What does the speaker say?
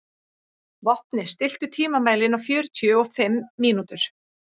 Vopni, stilltu tímamælinn á fjörutíu og fimm mínútur.